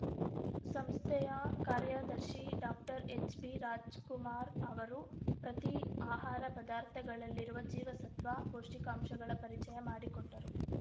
ಸಂಸ್ಥೆಯ ಕಾರ್ಯದರ್ಶಿ doctor H B Rajkumar ಅವರು ಪ್ರತಿ ಆಹಾರ ಪದಾರ್ಥಗಳಲ್ಲಿರುವ ಜೀವಸತ್ವ ಪೌಷ್ಟಿಕಾಂಶಗಳ ಪರಿಚಯ ಮಾಡಿಕೊಟ್ಟರು